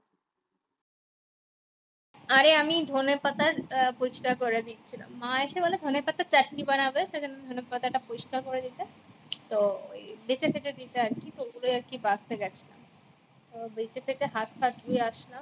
অরে আমি ধোনে পাতার ফুচকা করে দিছিলাম মা এসে বলে ধোনে পাতার চাটনি বানাবে সেই জন্য ধোনে পাতা টা পরিষ্কার করেনিতে তো